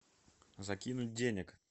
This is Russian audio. закинуть денег